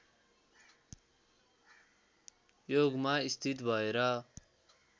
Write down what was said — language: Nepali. योगमा स्थित भएर